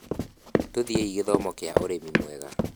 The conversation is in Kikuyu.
Tũthiĩi gĩthomo kĩa ũrĩmi mwega